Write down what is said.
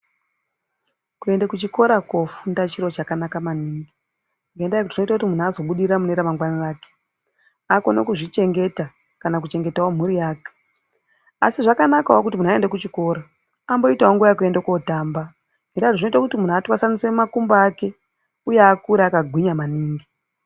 Kuende kuchikora kofunda chiro chakanaka ngendaa yekuti zvinoita kuti muntu azobudirira mune ramangwana rake. Akone kuzvichengeta kana kuchengetavo mhuri yake asi zvakanakavo kuti muntu aenda kuchikora amboitavo nguva yekuende kotamba. Zvinota kuti muntu atwasanuse makumbo ake, uye akure akagwinya maningi.